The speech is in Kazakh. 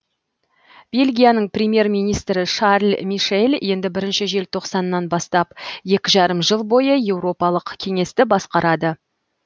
бельгияның премьер министрі шарль мишель енді бірінші желтоқсаннан бастап екі жарым жыл бойы еуропалық кеңесті басқарады